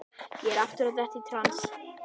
Ég er aftur að detta í trans.